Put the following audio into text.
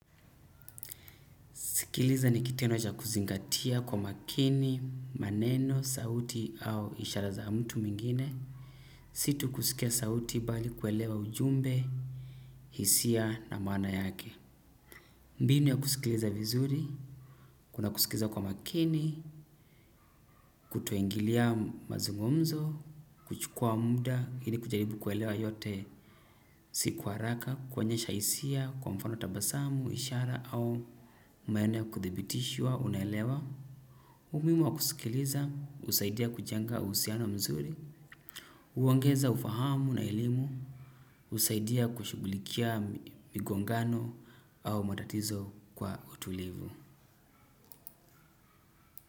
Sikiliza ni kitendo cha kuzingatia kwa makini, maneno, sauti au ishara za mtu mwingine. Si tu kusikia sauti bali kuelewa ujumbe, hisia na maana yake. Mbinu ya kusikiliza vizuri, kuna kusikiza kwa makini, kutoingilia mazungumzo, kuchukua muda, ili kujaribu kuelewa yote si kwa haraka, kuonyesha hisia kwa mfano tabasamu, ishara au maeneo ya kuthibitishwa, unaelewa. Umuhimu wa kusikiliza, husaidia kujenga uhusiano mzuri, huongeza ufahamu na elimu, husaidia kushugulikia migongano au matatizo kwa utulivu.